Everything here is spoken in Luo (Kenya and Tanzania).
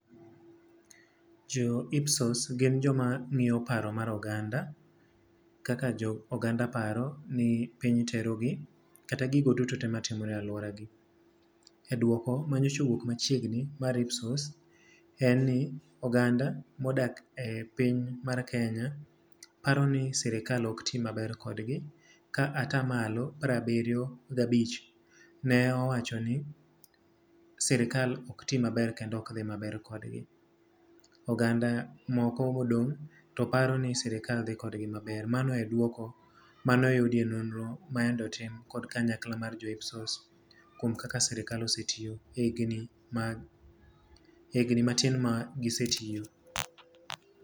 Jo IPSOS gin joma ngíyo paro mar oganda, kaka jo oganda paro ni piny terogi, kata gigo duto te matimore e alworagi. E dwoko ma nyocha owuok machiegni mar IPSOS en ni oganda ma odak e piny mar Kenya paro ni serikal ok ti maber kodgi ka atamalo piero abiriyo gi abich ne owacho ni serikal okti maber kendo ok dhi maber kodgi. Oganda moko modong' to paro ni serikal dhi kodgi maber. Mano e duoko mane oyudi e nonro mayande otim kod kanyakla mar jo IPSOS kuom kaka serikal osetiyo higni mag, higni matin ma gisetiyo.